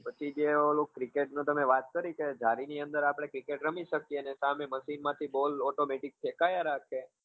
પછી જે ઓલું cricket ની તમે વાત કરી કે જાળી ની અંદર આપડે cricket રમી શકીએ છીએ સામે machine માંથી ball automatic ફેકાયા રાખે